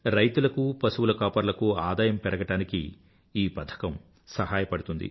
రైతులకూ పశువుల కాపరులకూ ఆదాయం పెరగడానికి ఈ పథకం సహాయపడుతుంది